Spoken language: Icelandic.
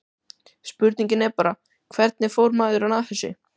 Spurningin er bara, hvernig fór maðurinn að þessu?